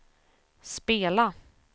spela